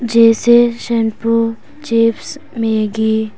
जैसे shampoo chips Maggi --